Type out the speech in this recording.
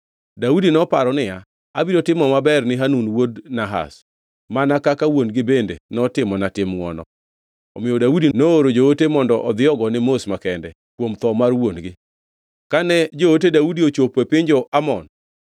Daudi noparo niya, “Abiro timo maber ni Hanun wuod Nahash, mana kaka wuon-gi bende notimona tim ngʼwono.” Omiyo Daudi nooro joote mondo odhi ogone mos makende kuom tho mar wuon-gi. Kane joote Daudi ochopo e piny jo-Amon,